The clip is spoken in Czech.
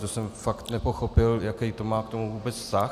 To jsem fakt nepochopil, jaký to má k tomu vůbec vztah.